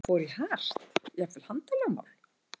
Fór í hart, jafnvel handalögmál?